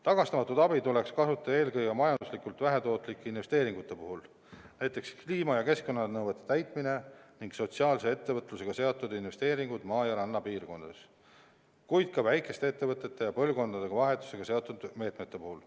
Tagastamatut abi tuleks kasutada eelkõige majanduslikult vähetootlike investeeringute puhul, näiteks kliima- ja keskkonnanõuete täitmine ning sotsiaalse ettevõtlusega seotud investeeringud maa- ja rannapiirkondades, kuid ka väikeste ettevõtete ja põlvkondade vahetusega seotud meetmete puhul.